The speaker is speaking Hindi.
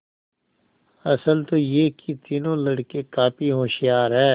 असल तो यह कि तीनों लड़के काफी होशियार हैं